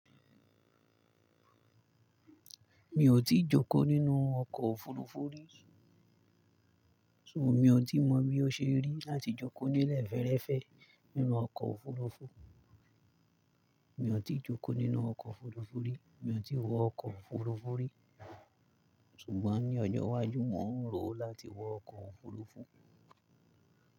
Mi ò tíì jókòó nínú ọkọ̀ òfuurufú rí, ṣùgbọ́n mi ò tí mọ̀ bí ó ṣe rí láti jókòó ninu ẹ̀ fẹ́ẹ́rẹ́fẹ́ nínú ọkọ̀ òfuurufú. Mi ò tí jókòó nínú ọkọ̀ òfuurufú rí, mi ò tí wọ ọkọ̀ òfuurufú rí, ṣùgbọ́n ní ọjọ́ iwájú, mò ń rò ó láti wọ ọkọ̀ òfuurufú.